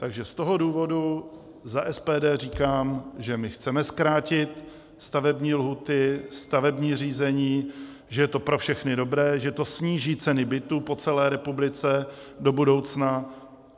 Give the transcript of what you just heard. Takže z toho důvodu za SPD říkám, že my chceme zkrátit stavební lhůty, stavební řízení, že je to pro všechny dobré, že to sníží ceny bytů po celé republice do budoucna.